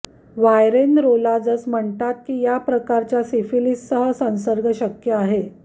व्हायरेनरोलॉजस् म्हणतात की या प्रकारच्या सिफिलीससह संसर्ग शक्य आहे